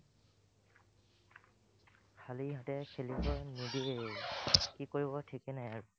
খালি হাতে খেলিব নিদিয়েই, কি কৰিব ঠিকেই নাই আৰু